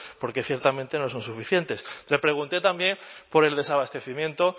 porque ciertamente no son suficientes le pregunté también por el desabastecimiento